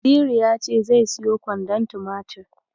Naziru ya ce zai siyo kwandon tumatir.